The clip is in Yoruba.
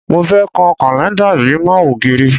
Mo fẹ́ kan kàlẹ́ńdà yìí mọ́ ògiri